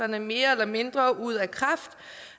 mere eller mindre ud af kraft